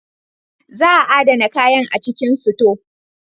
Za a adana kayan a cikin sito.